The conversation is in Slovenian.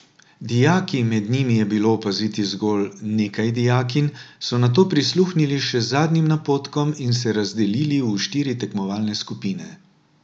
Dijaki, med njimi je bilo opaziti zgolj nekaj dijakinj, so nato prisluhnili še zadnjim napotkom in se razdelili v štiri tekmovalne skupine.